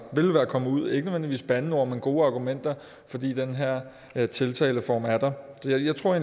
kommet ud med ikke nødvendigvis bandeord men gode argumenter fordi den her her tiltaleform er der jeg tror